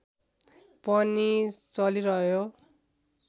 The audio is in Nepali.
पनि चलिरहयो